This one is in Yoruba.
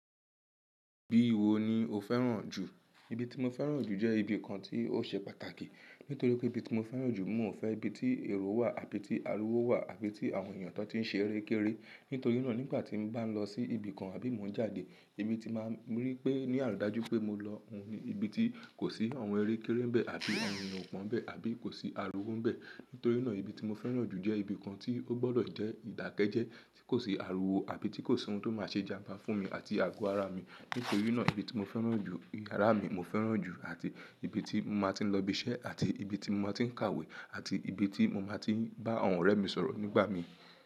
Bi iwo ni o féràn jù? Ibi ti mo féràn jù jẹ ibi kan ti o ṣe pàtàkì. Nítorí pé ibi tí mo féràn jù, n ò fẹ ibi tí èrò wà àbí tí ariwo wà àbí tí àwọn èèyàn tó ti n ṣe eré kéré. Nítorínà nígbà tí n bá n lọ sí ibi kan àbí mo n jáde, ibi ti má n rí pé ní àlùájú pé mo lọ, òun ni ibi tí kò sí àwọn eré kéré n bẹ àbí àwọn èèyàn kò wọ́n bẹ àbí kò sí ariwo n bẹ. Nítorínà ibi tí mo féràn jù jẹ́ ibi kan tí ó gbọdọ̀ jẹ́ ìdákẹ́jẹ́ẹ́ tí kò sí ariwo àbí tí kò sí ohun tó má se jamba fún mi àti àgọ ara mi. Nítorínà ibi tí mo féràn jù, yàrá mi mo féràn jù àti ibi tí mo máa ti n lọ ibi iṣẹ́ àti ibi tí mo máa ti n kàwé àti ibi tí mo máa ti n bá àwọn ọ̀rẹ́ mi sọ̀rọ̀ nígbà mí.